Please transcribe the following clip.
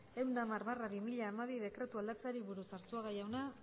ehun eta hamar barra bi mila hamabi dekretua aldatzeari buruz arzuga jauna